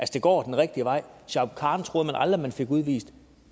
det går den rigtige vej shuaib khan troede man aldrig man fik udvist